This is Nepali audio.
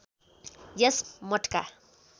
यस मठका